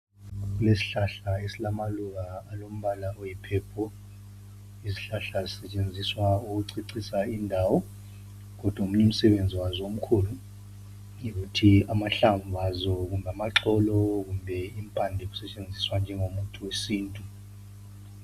Kulesihlahla esilamaluba alombala oyipurple. Izihlahla zisetshenziswa ukucecisa indawo kodwa omunye umsebenzi wazo omkhulu yikuthi amahlamvu azo kumbe amaxolo kumbe impande zazo zisetshenziswa njengomuthi wesintu.